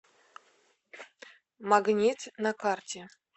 магнит на карте